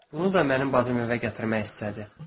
Bunu da mənim bacım evə gətirmək istədi.